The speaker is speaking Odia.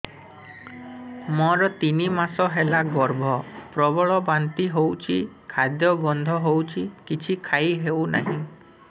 ମୋର ତିନି ମାସ ହେଲା ଗର୍ଭ ପ୍ରବଳ ବାନ୍ତି ହଉଚି ଖାଦ୍ୟ ଗନ୍ଧ ହଉଚି କିଛି ଖାଇ ହଉନାହିଁ